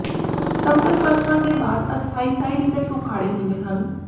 ਸਮਤਲ ਪਰਸਪਰ ਦੇ ਬਾਅਦ ਅਸਥਾਈ ਸਾਈਡ ਇਫੈਕਟ ਉਖਾੜੇ ਹੁੰਦੇ ਹਨ